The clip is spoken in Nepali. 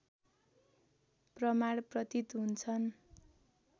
प्रमाण प्रतीत हुन्छन्